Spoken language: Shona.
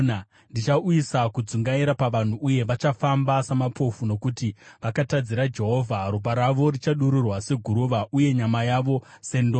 Ndichauyisa kudzungaira pavanhu uye vachafamba samapofu, nokuti vakatadzira Jehovha. Ropa ravo richadururwa seguruva, uye nyama yavo sendove.